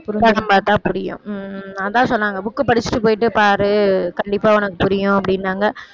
படம் பார்த்தா புரியும் உம் அதான் சொன்னாங்க book அ படிச்சுட்டு போயிட்டு பாரு கண்டிப்பா உனக்கு புரியும் அப்படின்னாங்க